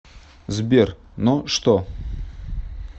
сбер но что